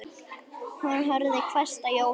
Hún horfði hvasst á Jóhann.